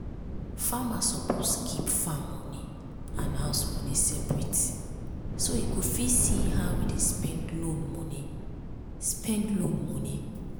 farmer suppose keep farm money and house money separate so e go fit see how e dey spend loan money. spend loan money.